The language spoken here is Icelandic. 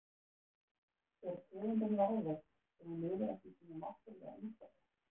Er tegundin varðveitt ef hún lifir ekki í sínu náttúrulega umhverfi?